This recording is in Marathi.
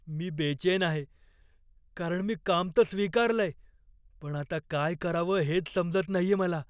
मी बेचैन आहे, कारण मी काम तर स्वीकारलंय, पण आता काय करावं हेच समजत नाहीये मला.